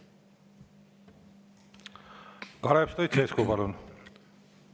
Kalev Stoicescu, palun!